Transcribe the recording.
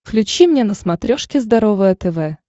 включи мне на смотрешке здоровое тв